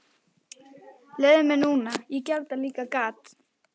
Leyfðu mér núna, ég gerði líka þetta gat.